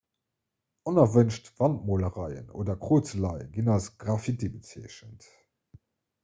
onerwënscht wandmolereien oder krozeleie ginn als graffiti bezeechent